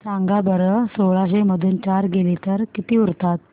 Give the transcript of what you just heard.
सांगा बरं सोळाशे मधून चार गेले तर किती उरतात